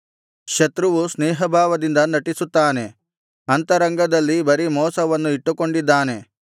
ಶತ್ರುವು ಸ್ನೇಹಭಾವದಿಂದ ನಟಿಸುತ್ತಾನೆ ಅಂತರಂಗದಲ್ಲಿ ಬರೀ ಮೋಸವನ್ನು ಇಟ್ಟುಕೊಂಡಿದ್ದಾನೆ